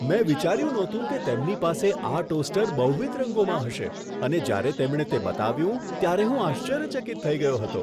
મેં વિચાર્યું નહોતું કે તેમની પાસે આ ટોસ્ટર બહુવિધ રંગોમાં હશે અને જ્યારે તેમણે તે બતાવ્યું ત્યારે હું આશ્ચર્યચકિત થઈ ગયો હતો.